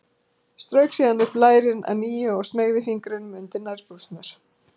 Strauk síðan upp lærin að nýju og smeygði fingrunum undir nærbuxurnar.